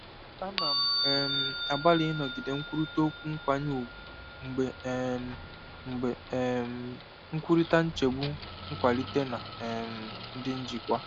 Ana m um agbalị ịnọgide nkwurịta okwu nkwanye ùgwù mgbe um mgbe um m na-ekwurịta nchegbu nkwalite na um ndị njikwa.